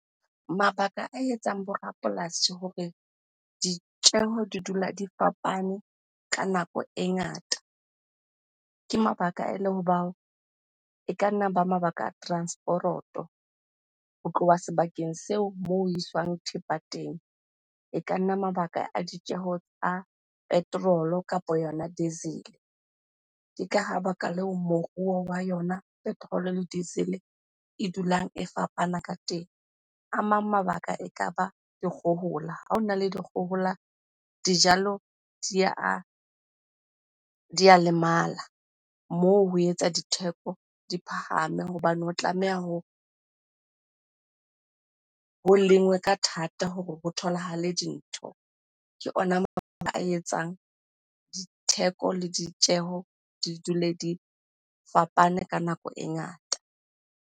Mabaka a etsang bo rapolasi hore ditjeho di dula di fapane ka nako e ngata, ke mabaka ele hoba e ka nna ba mabaka a transporoto ho tloha sebakeng seo moo ho iswang thepa teng. E ka nna mabaka a ditjeho tsa petrol-o kapa yona diesel-e. Ke ka ha baka leo moruo wa yona petrol-o diesel-e e dulang e fapana ka teng. A mang mabaka ekaba dikgohola, ha hona le dikgohola dijalo di a lemala. Moo ho etsa ditheko di phahame hobane ho tlameha ho lengwe ka thata hore ho tholahale dintho. Ke ona mabaka etsang ditheko le ditjeho di dule di fapane ka nako e ngata.